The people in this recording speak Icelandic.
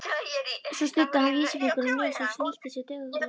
Svo studdi hann vísifingri á nös og snýtti sér duglega.